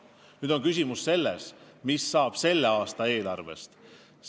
Nüüd on küsimus, mis saab selle aasta eelarvest.